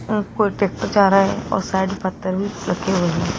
अह कोई ट्रैक्टर जा रहा है और साइड में पत्थर भी रखे हुए हैं।